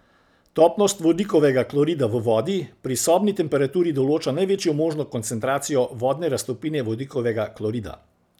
Topnost vodikovega klorida v vodi pri sobni temperaturi določa največjo možno koncentracijo vodne raztopine vodikovega klorida.